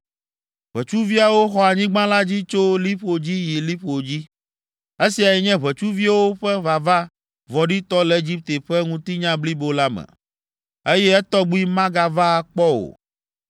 Ʋetsuviawo xɔ anyigba la dzi tso liƒo dzi yi liƒo dzi. Esiae nye ʋetsuviwo ƒe vava vɔ̃ɖitɔ le Egipte ƒe ŋutinya blibo la me, eye etɔgbi magava akpɔ o,